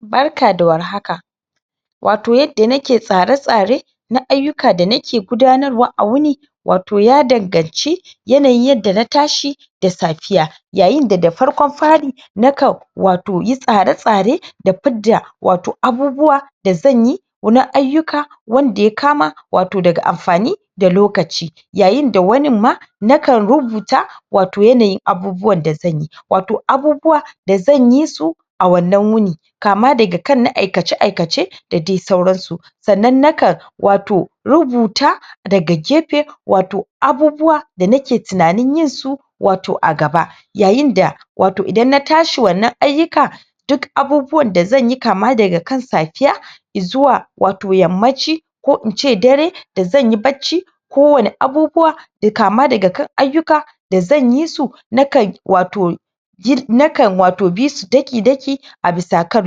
barka da war haka wato yadda nake tsare tsare na ayyuka da nake gudanarwa a wuni wato ya danganci yanayin yadda na tashi da safiya yayin da da farkon fari na kan wato yi tsare tsare da fidda wato abubuwa da zanyi na ayyuka wanda ya kama wato daga amfani da lokaci yayin da wanin ma na kan rubuta wato yanayin abubuwan da zanyi wato abubuwa da zan yi su a wannan wuni kama daga kan na aikace aikace da dai sauran su sannan na kan wato rubuta daga gefe wato abubuwa da nake tunanin yin su wato a gaba yayin da wato idan na tashi wannan ayyuka duk abubuwan da zanyi kama daga kan safiya zuwa wato yammaci ko in ce dare da zan yi bacci kowanne abubuwa kama daga kan ayyuka da zan yi su na kan wato na kan wato bi su daki daki a bisa kan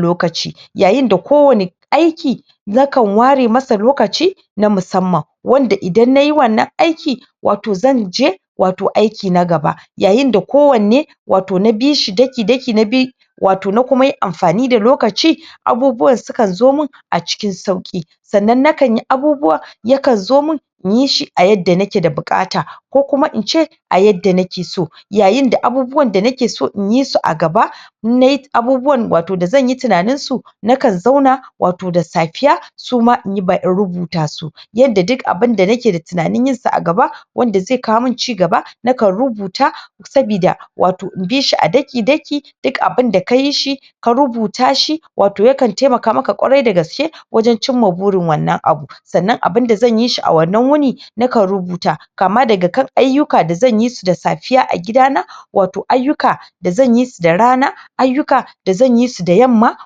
lokaci yayin da kowanne aiki na kan ware masa lokaci na musamman wanda idan nayi wannan aiki wato zan je wato aiki na gaba yayin da kowanne wato na bishi daki daki na bi wato na kuma yi amfani da lokaci abubuwan su kan zo min a cikin sauƙi sannan na kan yi abubuwa ya kan zo mun in yi shi a yadda na ke da buƙata ko kuma in ce a yadda nake so yayin da abubuwan da nake so in yi su a gaba in nayi abubuwan da wato zan yi tunanin su na kan zauna wato da safiya su ma in rubuta su yadda duk abunda nake da tunanin yin sa a gaba wanda zai kawo min cigaba na kan rubuta sabida wato in bi shi a daki daki duk abinda ka yi shi ka rubuta shi wato ya kan taimaka maka ƙwarai da gaske wajen cimma burin wannan abu sannan abinda zan yi shi a wannan wuni na kan rubuta kama daga kan ayyuka da zan yi su da safiya a gidana wato ayyuka da zan yi su da rana ayyuka da zan yi su da yamma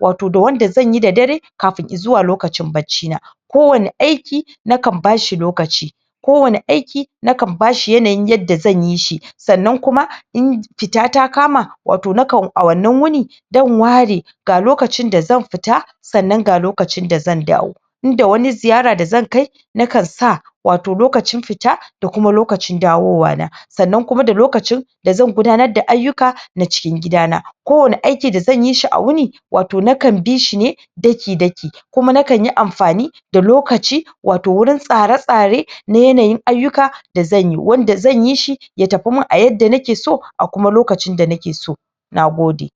wato da wanda zan yi da dare kafin zuwa lokacin bacci kowanne aiki na kan bashi lokaci kowanne aiki na kan bashi yanayin yadda zan yi shi sannan kuma in fita ta kama wato na kan a wannan wuni? ware ga lokacin da zan fita sannan ga lokacin da zan dawo in da wani ziyara da zan kai na kan sa wato lokacin fita da kuma lokacin dawowa na sannan kuma da lokacin da zan gudanar da ayyuka da cikin gida na kowanne aiki da zan yi shi a wuni wato na kan bishi ne daki daki kuma na kan yi amfani da lokaci wato wurin tsare tsare na yananyin ayyuka da zan yi wanda zan yi shi ya tafi mun a yadda nake so a kuma lokacin da nake so nagode